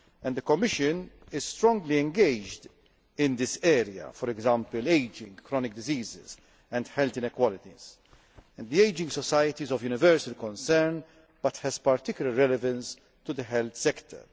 The Commission is strongly engaged in this area for example, ageing, chronic diseases and health inequalities. The ageing society is of universal concern but has particular relevance to the health sector.